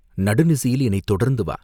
"நடுநிசியில் என்னைத் தொடர்ந்து வா!